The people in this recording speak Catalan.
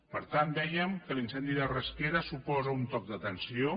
per tant dèiem que l’incendi de rasquera suposa un toc d’atenció